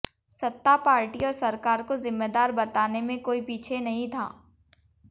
सत्ता पार्टी और सरकार को जिम्मेदार बताने में कोई पीछे नहीं था